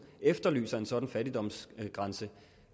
efterlyser en sådan fattigdomsgrænse